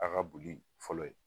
Aw ka boli fɔlɔ ye